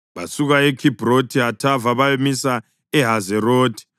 Basuka eKhibhrothi Hathava bayamisa eHazerothi.